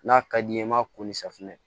N'a ka d'i ye i m'a ko ni safunɛ